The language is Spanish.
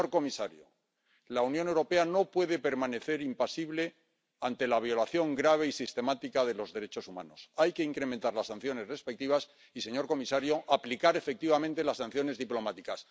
Señor comisario, la Unión Europea no puede permanecer impasible ante la violación grave y sistemática de los derechos humanos, hay que incrementar las sanciones respectivas y, señor comisario, aplicar efectivamente las sanciones diplomáticas.